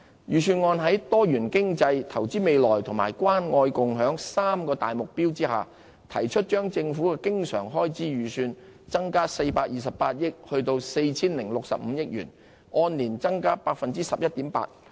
預算案在多元經濟、投資未來及關愛共享三大目標下，提出將政府的經常開支預算增加428億元至 4,065 億元，按年增加 11.8%。